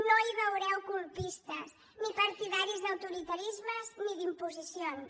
no hi veureu colpistes ni partidaris d’autoritarismes ni d’imposicions